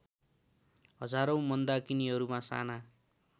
हजारौँ मन्दाकिनीहरूका साना